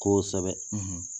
Koosɛbɛ